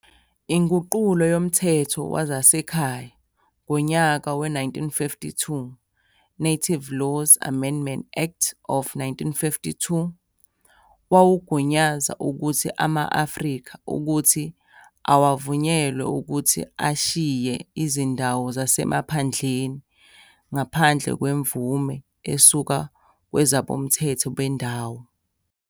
Inguqulo yoMthetho wezaseKhaya ngonyaka we-1952, "Native Laws Amendment Act of 1952". wawugunyaza ukuthi ama-Afrika ukuthi awavunyelwe ukuthi ashiye izndawo zasemaphandleni ngaphandle kwemvume esuka kwabezomthetho bendawo.